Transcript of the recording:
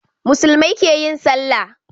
Muslumai keyin sallah